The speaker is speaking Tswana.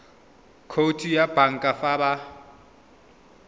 khoutu ya banka fa ba